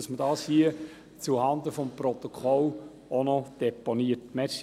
Uns war es wichtig, dies zuhanden des Protokolls zu deponieren.